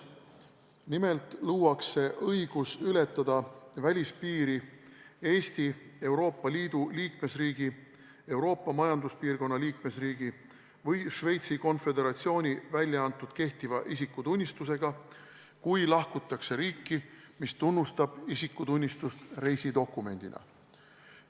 Nimelt luuakse õigus ületada välispiiri Eesti, Euroopa Liidu liikmesriigi, Euroopa Majanduspiirkonna liikmesriigi või Šveitsi Konföderatsiooni välja antud kehtiva isikutunnistusega, kui lahkutakse riiki, mis tunnustab isikutunnistust reisidokumendina.